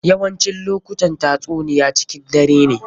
Yawancin lokutan tatsuniya cikin dare ne.